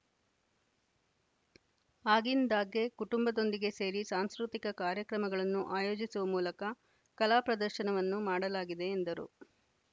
ಆಗಿಂದಾಗ್ಗೆ ಕುಟುಂಬದೊಂದಿಗೆ ಸೇರಿ ಸಾಂಸ್ಕೃತಿಕ ಕಾರ್ಯಕ್ರಮಗಳನ್ನು ಆಯೋಜಿಸುವ ಮೂಲಕ ಕಲಾ ಪ್ರದರ್ಶನವನ್ನು ಮಾಡಲಾಗಿದೆ ಎಂದರು